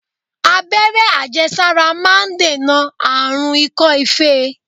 Abẹ́rẹ́ àjẹsára máà ń dènà àrùn ikọ́-ife.